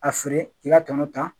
A feere i ka tɔnɔ ta